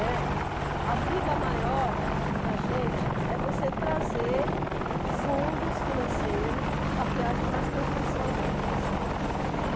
Né. A briga maior para a gente é você trazer fundos financeiros para que haja mais construção da habitação.